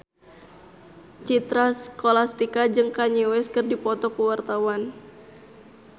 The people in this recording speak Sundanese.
Citra Scholastika jeung Kanye West keur dipoto ku wartawan